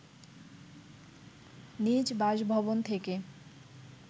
নিজ বাসভবন থেকে